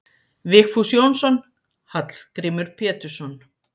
Vigfús Jónsson: Hallgrímur Pétursson